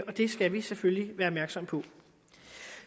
og det skal vi selvfølgelig være opmærksom på